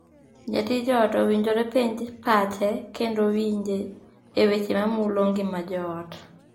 Jatij ot owinjore penj pache kendo winje e weche mamulo ngima joot.